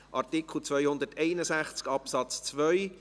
Artikel 261 Absatz 2: